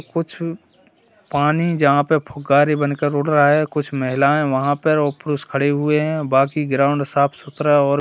कुछ पानी जहां पर फुक्करे बनकर उड़ रहा है कुछ महिलाएं वहां पर और पुरुष खड़े हुए है बाकी ग्राउंड साफ सुथरा और--